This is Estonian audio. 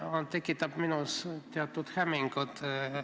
See tekitab minus teatud hämmingut.